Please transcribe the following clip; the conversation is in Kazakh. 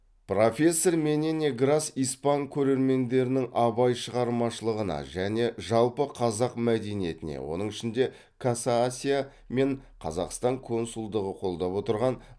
профессор менене грас испан көрермендерінің абай шығармашылығына және жалпы қазақ мәдениетіне оның ішінде каса асия мен қазақстан консулдығы қолдап отырған